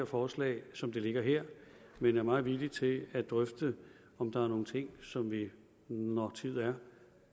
forslaget som det ligger her men er meget villige til at drøfte om der er nogle ting som vi når tid er